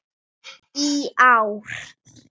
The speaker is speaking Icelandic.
í ár.